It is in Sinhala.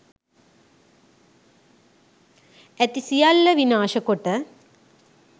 ඇති සියල්ල විනාශ කොට